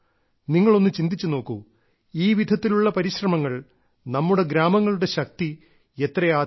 നിങ്ങൾ ഒന്ന് ചിന്തിച്ചു നോക്കൂ ഈ വിധത്തിലുള്ള പരിശ്രമങ്ങൾ നമ്മുടെ ഗ്രാമങ്ങളുടെ ശക്തി എത്രയധികമാണ് വർദ്ധിപ്പിക്കുന്നത്